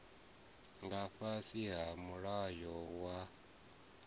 nga fhasi ha mulayo wa